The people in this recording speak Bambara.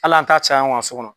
Hali an ta caya anw k'an so kɔnɔ